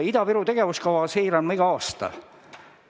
Ida-Viru tegevuskava seire on meil igal aastal.